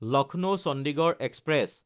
লক্ষ্ণৌ–চণ্ডীগড় express